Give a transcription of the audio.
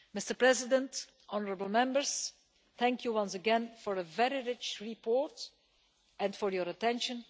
Mr President, honourable Members, thank you once again for a very rich report and for your attention.